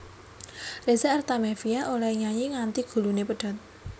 Reza Artamevia olehe nyanyi nganti gulune pedhot